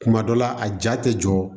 Kuma dɔ la a ja tɛ jɔ